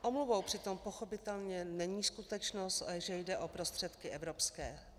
Omluvou přitom pochopitelně není skutečnost, že jde o prostředky evropské.